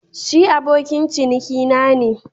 Shi abokin cinikina ne